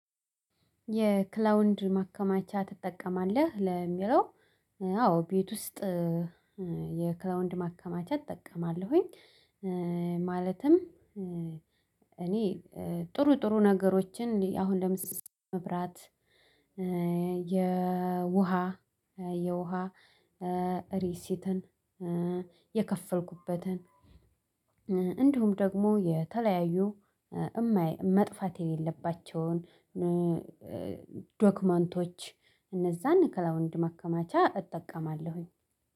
የክላውድ ማከማቻ ትጠቀማለህ ለሚለው? አዎ ቤት ውስጥ የክላውድ ማከማቻ እጠቀማለሁኝ። ማለትም እኔ ጥሩ ጥሩ ነገሮችን አሁን ለምሳሌ መብራት የውሃ የውሃ ሪሲትን የከፈልኩበትን እንዲሁም ደግሞ የተለያዩ እማይ መጥፋት የሌለባቸውን። ዶክመንቶች እነዛን ክላዉድ ማከማቻ እጠቀማለሁኝ።